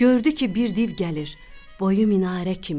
Gördü ki, bir div gəlir, boyu minarə kimi.